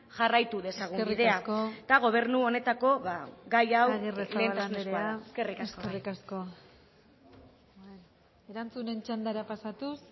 jarraitu dezagun bidean eta gobernu honetako eskerrik asko arrizabalaga anderea erantzunen txandara pasatuz